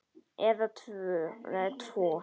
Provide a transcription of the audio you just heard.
Eða tvo.